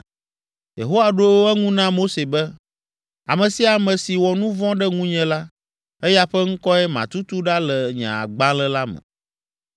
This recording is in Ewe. Yehowa ɖo eŋu na Mose be, “Ame sia ame si wɔ nu vɔ̃ ɖe ŋunye la, eya ƒe ŋkɔe matutu ɖa le nye agbalẽ la me.